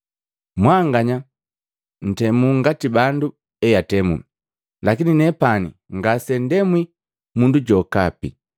Mwanganya ntemu ngati bandu eatemu, lakini nepani ngasenuntemwi mundu jokapi.